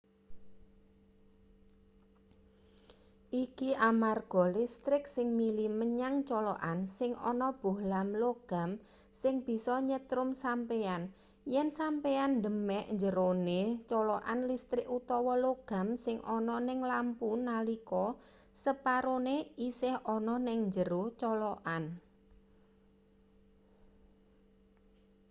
iki amarga listrik sing mili menyang colokan sing ana bohlam logam sing bisa nyetrum sampeyan yen sampeyan demek njerone colokan listrik utawa logam sing ana ning lampu nalika separone isih ana ning njero colokan